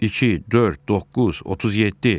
İki, dörd, doqquz, 37.